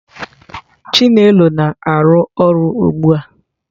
chinelo na-arụ ọrụ ugbu a.